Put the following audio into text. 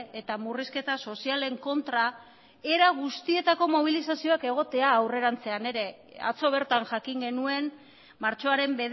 eta murrizketa sozialen kontra era guztietako mobilizazioak egotea aurrerantzean ere atzo bertan jakin genuen martxoaren